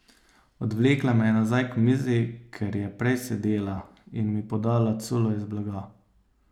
Odvlekla me je nazaj k mizi, kjer je prej sedela, in mi podala culo iz blaga.